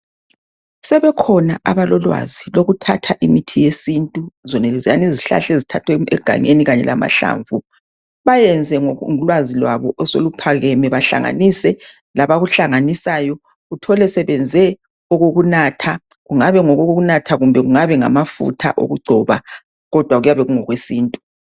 Sebekhona abalolwazi lokuthatha imithi yesintu. Zonaleziyana izihlahla ezithathwa eganyeni, kanye lamahlamvu. Bayenze ngolwazi lwabo osoluphakeme. Bahlanganise labakuhlanganisayo labakuhlanganisayo ,uthole sebenze okokunatha. Kungabe kungokokunatha kumbe kungabe ngamafutha okungcoba, kodwa kuyabe kungokwesintu.